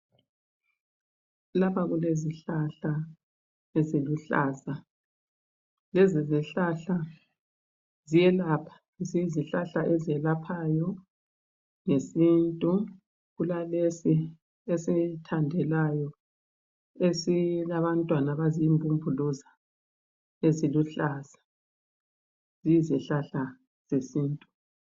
lapha kulezihlahla eziluhlaza lezi zihlahla ziyelapha izihlahla ezelaphayo ngesintu kulalesi esithandelayo esilabantwana abazimbumbuluzi eziluhlaza ziyizihlahla zesintu